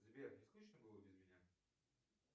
сбер не скучно было без меня